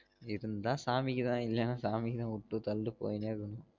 இருந்தா சாமிக்கு தான் இல்லன சாமிக்கு தான் உட்டு தள்ளிட்டு போயினே இருக்கணும்